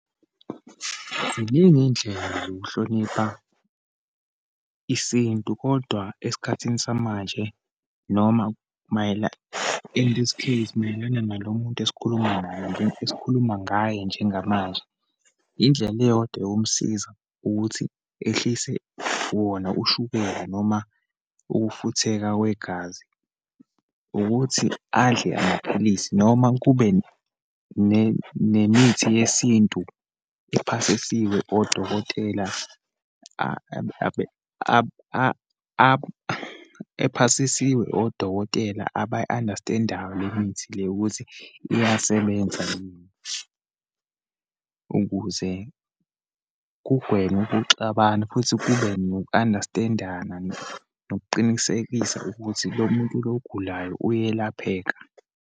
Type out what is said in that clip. Ziningi iyindlela zokuhlonipha isintu, kodwa esikhathini samanje, noma in this case mayelana nalo muntu esikhuluma naye, esikhuluma ngaye njengamanje. Indlela iyodwa eyomsiza ukuthi ehlise wona ushukela, noma ukufutheka kwegazi, ukuthi adle amaphilisi noma kube nemithi yesintu ephasisiwe odokotela abe ephasisiwe odokotela abayi-understand-ayo le mithi le, ukuthi iyasebenza yini, ukuze kugwenywe ukuxabana futhi kube noku-understand-ana nokuqinisekisa ukuthi lo muntu lo ogulayo uyelapheka.